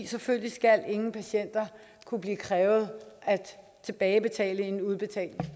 selvfølgelig skal ingen patienter kunne blive krævet at tilbagebetale en udbetalt